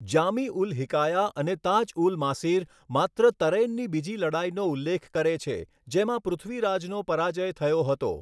જામી ઉલ હિકાયા અને તાજ ઉલ માસીર માત્ર તરૈનની બીજી લડાઈનો ઉલ્લેખ કરે છે, જેમાં પૃથ્વીરાજનો પરાજય થયો હતો.